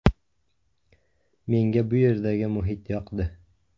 Menga bu yerdagi muhit yoqdi.